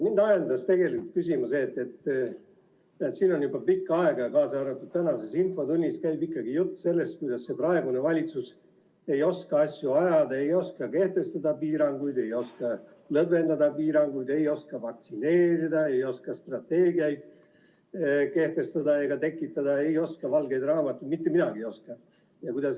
Mind ajendas küsima see, et siin on juba pikka aega, kaasa arvatud tänases infotunnis, jutt käinud sellest, et praegune valitsus ei oska asju ajada, ei oska kehtestada piiranguid, ei oska lõdvendada piiranguid, ei oska vaktsineerida, ei oska strateegiaid kavandada ega kehtestada, ei oska valgeid raamatuid teha – mitte midagi ei oska.